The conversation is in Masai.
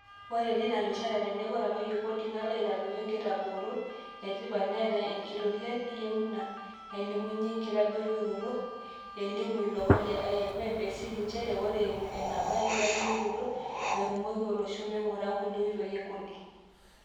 "Ore tena rishata, teneeku etadoyia kodi nalo aitadoyio nkitabarot etipat...neeta nkitoriak eyieuna nailimunye inkitadoyiorot, " elimu ilomon le IMF, esiri njere ore eimu eneba nkitadoyiorot, erumoki olosho meingoru ngule oitoi e kodi.